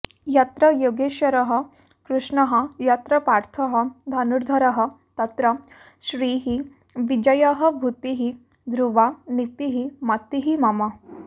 यत्र योगेश्वरः कृष्णः यत्र पार्थः धनुर्धरः तत्र श्रीः विजयः भूतिः ध्रुवा नीतिः मतिः मम